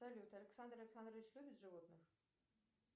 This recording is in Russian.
салют александр александрович любит животных